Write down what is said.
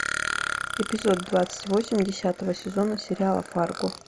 эпизод двадцать восемь десятого сезона сериала фарго